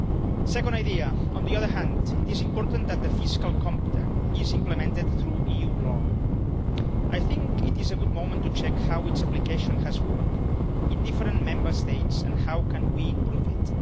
The second idea on the other hand, it is important that the fiscal compact is implemented through EU law. I think it is a good moment to check how its application has worked in different Member States, and how we can improve it.